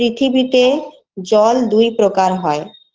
পৃথিবীতে জল দুই প্রকার হয়